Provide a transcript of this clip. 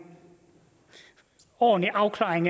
ordentlig afklaring